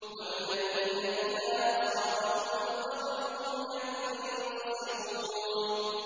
وَالَّذِينَ إِذَا أَصَابَهُمُ الْبَغْيُ هُمْ يَنتَصِرُونَ